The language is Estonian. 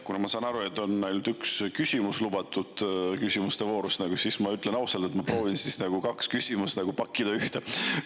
Kuna, ma saan aru, ainult üks küsimus on lubatud küsimuste voorus, siis ma ütlen ausalt, et ma proovin kaks küsimust pakkida ühte.